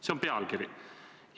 See on pealkiri.